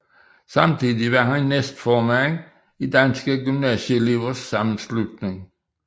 Samtidig var han næstformand i Danske Gymnasieelevers Sammenslutning